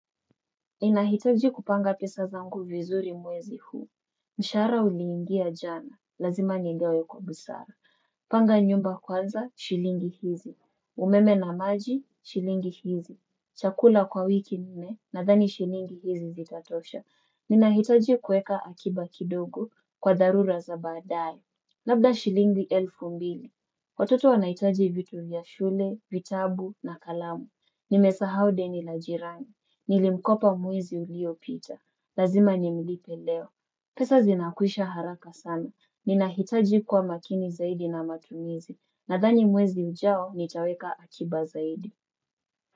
Inahitaji kupanga pesa zangu vizuri mwezi huu. Mshara uliingia jana, lazima nigawe kwa busara. Panga nyumba kwanza, shilingi hizi. Umeme na maji, shilingi hizi. Chakula kwa wiki nne, nadhani shilingi hizi zitatosha. Ninahitaji kueka akiba kidogo kwa dharura za baadae. Labda shilingi elfu mbili. Watoto wanahitaji vitu vya shule, vitabu na kalamu. Nimesahau deni la jirani. Nilimkopa mwezi uliopita. Lazima nimlipe leo. Pesa zinakwisha haraka sana. Ninahitaji kuwamakini zaidi na matumizi. Nadhani mwezi ujao nitaweka akiba zaidi.